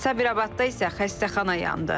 Sabirabadda isə xəstəxana yandı.